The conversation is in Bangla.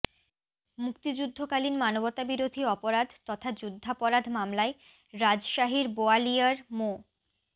মুক্তিযুদ্ধকালীন মানবতাবিরোধী অপরাধ তথা যুদ্ধাপরাধ মামলায় রাজশাহীর বোয়ালিয়ার মো